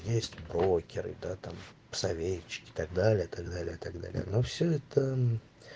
есть брокеры да там советчики так далее так далее так далее ну все это